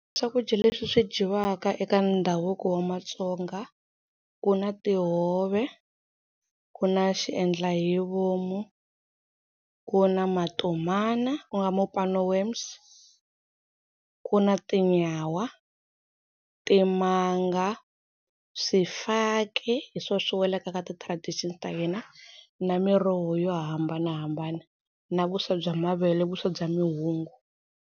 Swakudya leswi swi dyiwaka eka ndhavuko wa maTsonga ku na tihove, ku na xiendla hi vomu, ku na matomana ku nga mopane worms, ku na tinyawa, timanga, swifaki hi swo swi welaka ka ti-tradition ta hina na miroho yo hambanahambana na vuswa bya mavele vuswa bya mihungu.